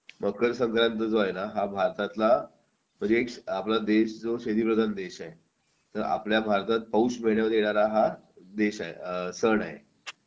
मकर संक्रांत जो आहे ना हा भारतातला म्हणजे आपला देश जो शेतीप्रधान देश आहे आपल्या भारतात पाऊस वेळेवर यायला हा देश आहे सण आहे